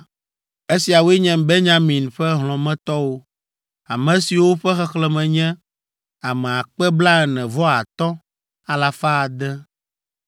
Esiawoe nye Benyamin ƒe hlɔ̃metɔwo, ame siwo ƒe xexlẽme nye ame akpe blaene-vɔ-atɔ̃ alafa ade (45,600).